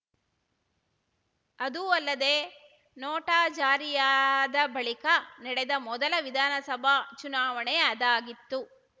ಅದೂ ಅಲ್ಲದೆ ನೋಟಾ ಜಾರಿಯಾದ ಬಳಿಕ ನಡೆದ ಮೊದಲ ವಿಧಾನಸಭಾ ಚುನಾವಣೆ ಅದಾಗಿತ್ತು